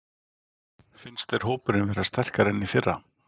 Finnst þér hópurinn vera sterkari en í fyrra?